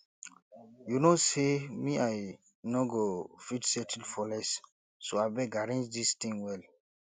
you no say me i n go fit settle for less so abeg arrange dis thing well